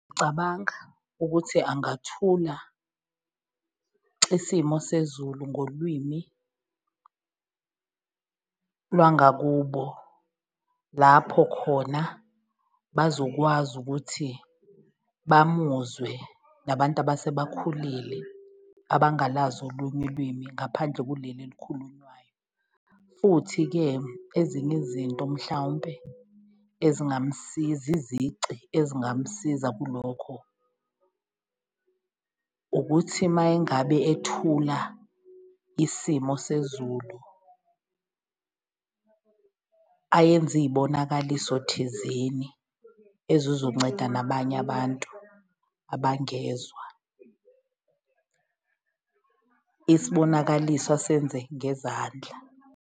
Ngicabanga ukuthi angathula isimo sezulu ngolwimi lwangakubo lapho khona bazokwazi ukuthi bamuzwe nabantu abasebakhulile, abangalazi olunye ulimi ngaphandle kuleli elikhulunywayo. Futhi-ke ezinye izinto mhlawumpe ezingamsiza, izici ezingamsiza kulokho ukuthi mayengabe ethula isimo sezulu, ayenze iyibonakaliso thizeni ezizonceda nabanye abantu abangezwa, isibonakaliso asenze ngezandla.